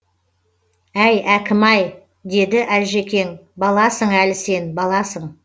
әй әкім ай деді әлжекең баласың әлі сен баласың